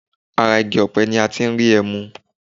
Ara igi ọ̀pẹ ní a tí n rí ẹmu.